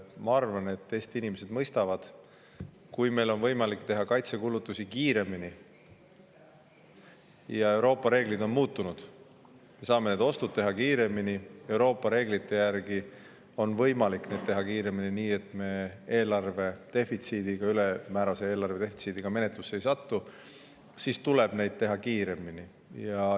Ma arvan, et Eesti inimesed mõistavad, et kui meil on võimalik teha kaitsekulutusi kiiremini – Euroopa reeglid on muutunud, me saame need ostud teha kiiremini, Euroopa reeglite järgi on neid võimalik teha kiiremini ja nii, et me ülemäärase eelarvedefitsiidi menetluse alla ei satu –, siis tuleb neid teha kiiremini.